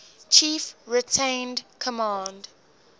chief retained command